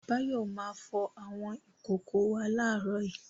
Báyọ̀ máa fọ àwọn ìkòkò wa láàárọ̀ yìí.